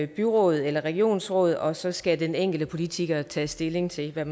byråd eller regionsråd og så skal den enkelte politiker tage stilling til hvad